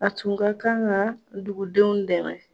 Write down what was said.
A tun ka kan ka dugudenw dɛmɛ